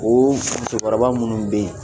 Ooo musokɔrɔba munnu bɛ yen